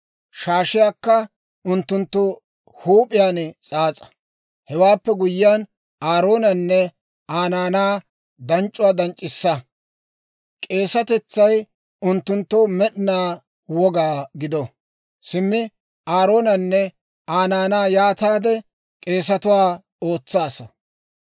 Shaashiyaakka unttunttu huup'iyaan s'aas'a. Hewaappe guyyiyaan Aaroonanne Aa naanaa danc'c'uwaa danc'c'issa. K'eesatetsay unttunttoo med'inaa woga gido. Simmi Aaroonanne Aa naanaa yaataade k'eesatuwaa ootsaasa.